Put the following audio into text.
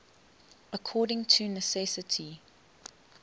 according to necessity